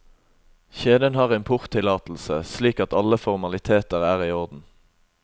Kjeden har importtillatelse, slik at alle formaliteter er i orden.